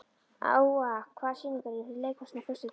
Úa, hvaða sýningar eru í leikhúsinu á föstudaginn?